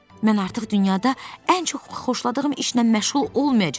Mən artıq dünyada ən çox xoşladığım işlə məşğul olmayacağam.